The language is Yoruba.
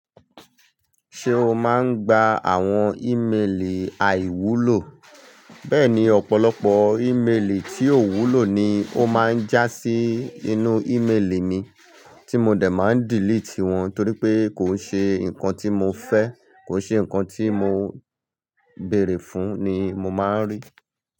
Ṣé o máa ń gba àwọn ìmelì àìwúlò? Bẹ́ẹ̀ni, ọ̀pọ̀lọpọ̀ ìmelì tí ò wúlò ni ó máa ń já sí inú ìmelì mi, tí mo dẹ̀ máa ń delete wọn torí pé kò ṣe nǹkan tí mo fẹ́, kò ṣe nǹkan tí mo béèrè fún ni mo máa ń rí.